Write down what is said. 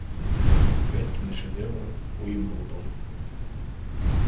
искать киношедевр уимблдон